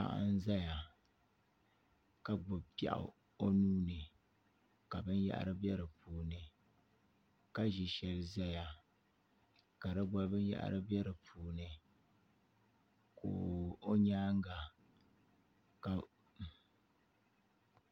Paɣa n ʒɛya ka gbubi piɛɣu o nuuni ka binyahari bɛ di puuni ka ʒi shɛli ʒɛya ka di gba binyahari bɛ di puuni ka o nyaanga ka